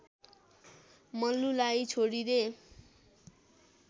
मल्लुलाई छोडिदे